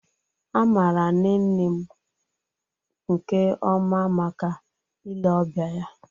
A maara nne nne m nke ọma maka ile ọbịa ya